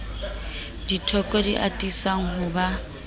dithoko di atisang ho ba